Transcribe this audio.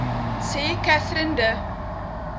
sê katherine de